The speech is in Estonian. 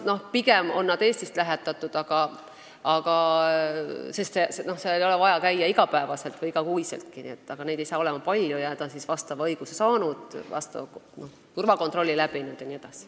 Pigem on nad Eestist lähetatud, sest seal ei ole vaja käia iga päev või iga kuu, aga neid ei hakka olema palju ja nad on vastava õiguse saanud, turvakontrolli läbi teinud jne.